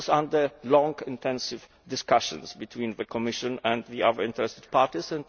agreement. This was after long, intensive discussions between the Commission and the other interested